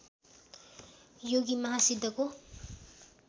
योगी महा सिद्धको